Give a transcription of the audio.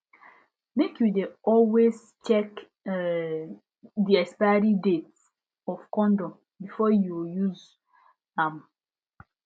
make you de always check um the expiry date of condom before you use um am